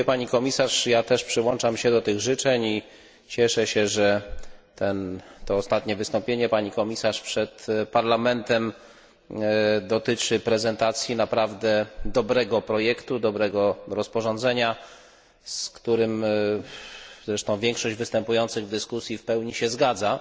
Pani komisarz! Ja też przyłączam się do tych życzeń i cieszę się, że to ostatnie wystąpienie Pani komisarz przed Parlamentem dotyczy prezentacji naprawdę dobrego projektu, dobrego rozporządzenia, z którym zresztą większość występujących w dyskusji w pełni się zgadza.